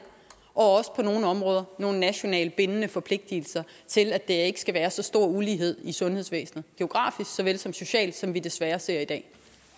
og også på nogle områder nogle nationalt bindende forpligtelser til at der ikke skal være så stor ulighed i sundhedsvæsenet geografisk såvel som socialt som vi desværre ser i dag